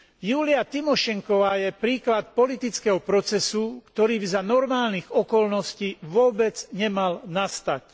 Júlia Timošenková je príklad politického procesu, ktorý by za normálnych okolností vôbec nemal nastať.